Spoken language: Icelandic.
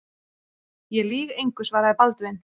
Ég lýg engu, svaraði Baldvin.